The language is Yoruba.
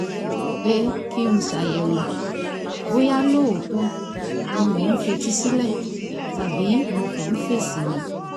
pé kí n ṣàyẹ̀wò bóyá lóòótọ́ ni mò ń fetí sílẹ̀ tàbí mo kàn ń fèsì ni